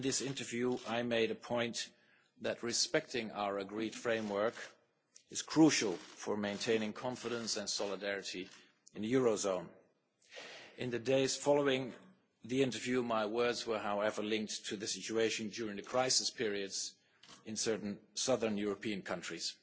In this interview, I made the point that respecting our agreed framework is crucial for maintaining confidence and solidarity in the eurozone. In the days following the interview, however, my words were linked to the situation during the crisis periods in certain southern European countries.